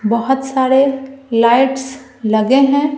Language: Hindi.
बहुत सारे लाइट्स लगे हैं।